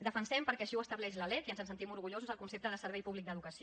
defensem perquè així ho estableix la lec i ens en sentim orgullosos el concepte de servei públic d’educació